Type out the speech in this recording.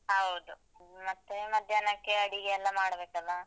ಹೌದು, ಮತ್ತೆ ಮಧ್ಯಾಹ್ನಕ್ಕೆ ಅಡಿಗೆ ಎಲ್ಲ ಮಾಡ್ಬೇಕಲ್ಲ.